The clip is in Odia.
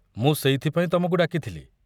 ମୁଁ ସେଇଥିପାଇଁ ତମକୁ ଡାକିଥିଲି।